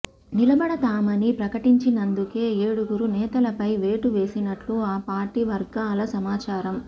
నిలబడతామని ప్రకటించినందుకే ఏడుగురు నేతలపై వేటు వేసినట్లు ఆ పార్టీ వర్గాల సమాచారం